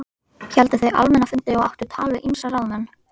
Héldu þau almenna fundi og áttu tal við ýmsa ráðamenn.